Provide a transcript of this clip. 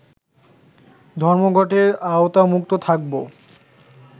ধর্মঘটের আওতামুক্ত থাকব